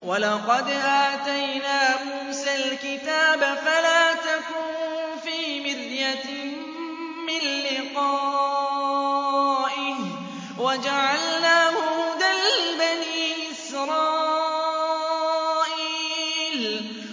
وَلَقَدْ آتَيْنَا مُوسَى الْكِتَابَ فَلَا تَكُن فِي مِرْيَةٍ مِّن لِّقَائِهِ ۖ وَجَعَلْنَاهُ هُدًى لِّبَنِي إِسْرَائِيلَ